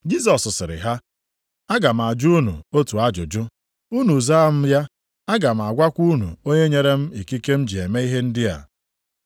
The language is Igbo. Jisọs sịrị ha, “Aga m ajụ unu otu ajụjụ, unu zaa m ya, aga m agwakwa unu onye nyere m ikike m ji eme ihe ndị a.